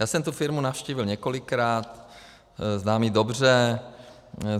Já jsem tu firmu navštívil několikrát, znám ji dobře.